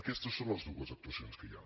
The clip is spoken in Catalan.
aquestes són les dues actuacions que hi ha